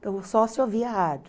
Então, só se ouvia rádio.